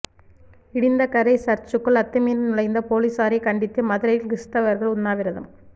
இடிந்தகரை சர்ச்சுக்குள் அத்துமீறி நுழைந்த போலீசாரைக் கண்டித்து மதுரையில் கிறிஸ்தவர்கள் உண்ணாவிரதம்